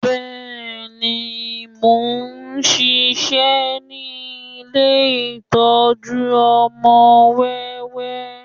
Bẹ́ẹ̀ni, mo ń ṣiṣẹ́ ní ilé ìtọ́jú ọmọ wẹ́wẹ́